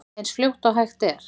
Eins fljótt og hægt er.